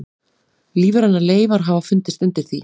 Lífrænar leifar hafa fundist undir því.